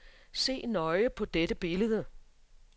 Se nøje på dette billede.